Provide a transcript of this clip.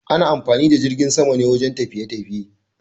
Ana amfani da jirgin sama ne wajen tafiye-tafiye.